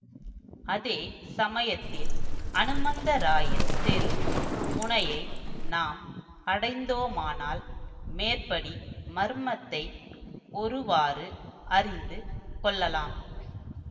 அதே சமயத்தில் அனுமந்தராயன் தெரு முனையை நாம் அடைந்தோமானால் மேற்படி மர்மத்தை ஒருவாறு அறிந்து கொள்ளலாம்